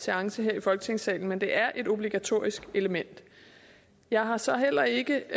seance her i folketingssalen men det er et obligatorisk element jeg har så heller ikke